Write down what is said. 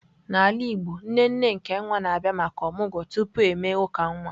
N'ala Igbo, nne nne nke nwa na-abịa maka omụgwo tupu e mee uka nwa.